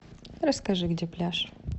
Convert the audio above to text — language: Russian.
расскажи где пляж